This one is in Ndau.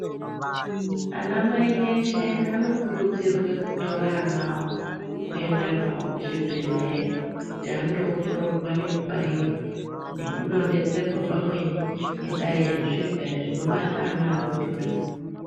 Ana mai eshe anokurudzirwe kutore ana awo kuenda nawo kuzvibhedhleya kuti andoongororwa nekubairwa nekudontedzerwa pamweni ngendaa yezvirwere zvinobata ana adodori.